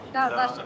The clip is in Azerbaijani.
Laçınlı.